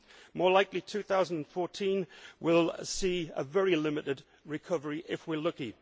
More likely, 2014 will see a very limited recovery, if we are lucky.